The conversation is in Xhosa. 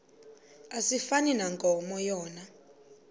asifani nankomo yona